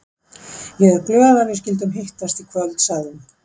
Ég er glöð að við skyldum hittast í kvöld, sagði hún.